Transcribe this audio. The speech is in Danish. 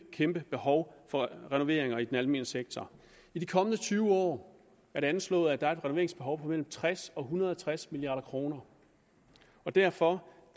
kæmpe behov for renoveringer i den almene sektor i de kommende tyve år er det anslået at der er et renoveringsbehov på mellem tres og en hundrede og tres milliard kroner derfor